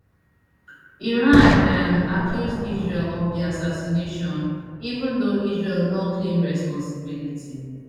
iran um accuse israel of di assassination even though israel no claim responsibility